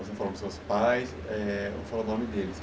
Você falou dos seus pais, eh não falou o nome deles.